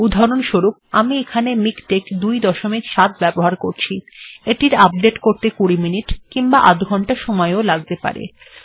উদাহরণস্বরূপ আমি এখানে মিকটেক্ ২৭ ব্যবহার করছি এটির আপডেট্ করতে কুড়ি মিনিট কিংবা আধ ঘন্টা সময়ও লাগতে পারে